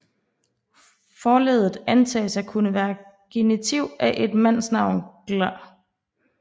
Forleddet antages at kunne være genitiv af et mandsnavn glda